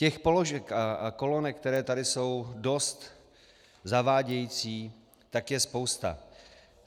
Těch položek a kolonek, které tady jsou dost zavádějící, tak je spousta.